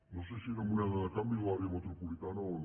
no sé si era moneda de canvi de l’àrea metropolitana o no